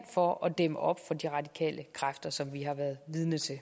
for at dæmme op for de radikale kræfter som vi har været vidne til